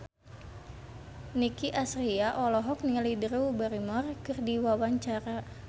Nicky Astria olohok ningali Drew Barrymore keur diwawancara